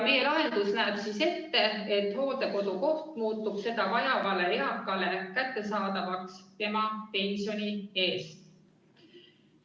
Meie lahendus näeb ette, et hooldekodukoht muutub seda vajavale eakale kättesaadavaks tema pensioni eest.